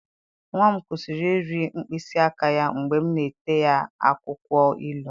Nwa m kwụsịrị iri mkpịsị aka ya mgbe m na-ete ha akwụkwọ ilu.